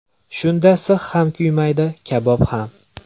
Shunda six ham kuymaydi, kabob ham.